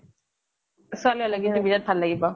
ছোৱালী হʼলে কিন্তু বিতাত ভাল লাগিব।